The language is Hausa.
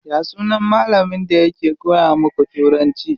Ya sunan malamin da yake koya muku turanci?